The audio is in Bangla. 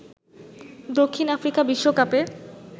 দক্ষিণ আফ্রিকা বিশ্বকাপে